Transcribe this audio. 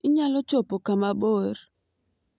Inyalo chopo kama mabor